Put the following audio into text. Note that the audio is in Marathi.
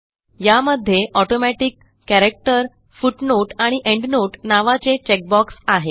यामध्ये ऑटोमॅटिक कॅरेक्टर फुटनोट आणि एंडनोट नावाचे चेक बॉक्स आहेत